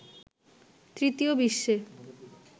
তৃতীয় বিশ্বে